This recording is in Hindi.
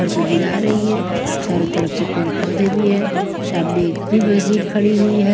घर को गिरा रही हैं चारों तरफ से पेड़ पौधे भी है सामने एक फिर मशीन खड़ी हुई है।